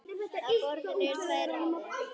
Á borðinu eru tvær raðir.